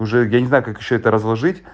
уже я не знаю как ещё это разложить